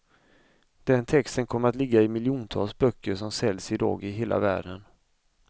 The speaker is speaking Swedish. Den texten kommer att ligga i miljontals böcker som säljs i dag i hela världen.